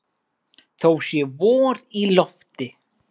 Þó sé vor í lofti.